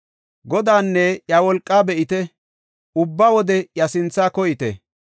Godaanne iya wolqaa be7ite; ubba wode iya sinthaa koyite.